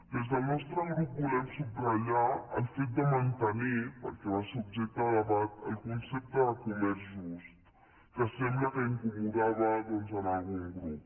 des del nostre grup volem subratllar el fet de mantenir perquè va ser objecte de debat el concepte de comerç just que sembla que incomodava doncs algun grup